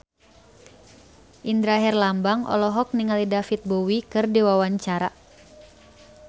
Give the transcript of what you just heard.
Indra Herlambang olohok ningali David Bowie keur diwawancara